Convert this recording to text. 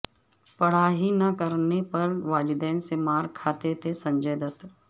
پڑھائی نہ کرنے پر والدین سے مارکھاتے تھے سنجے دت